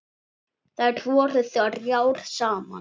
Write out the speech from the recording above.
Þær voru þrjár saman.